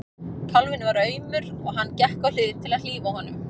Kálfinn var aumur og hann gekk á hlið til að hlífa honum.